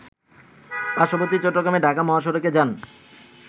পার্শ্ববর্তী চট্টগ্রাম ঢাকা মহাসড়কে যান